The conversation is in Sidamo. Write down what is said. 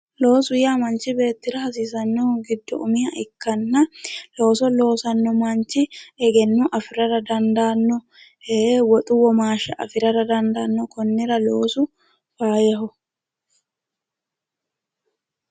Loosu yaa manchi beettira hasiisanohu giddo umiha ikkanna looso loossano manchi egenno afirara dandaano ee woxu womaashsha afirara dandaano, konira loosu danchaho.